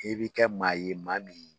I bi kɛ maa ye maa min